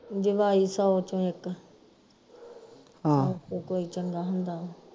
ਜਵਾਈ ਸਭ ਵਿਚੋ ਇਕ ਕੋਈ ਚੰਗਾ ਹੁੰਦਾ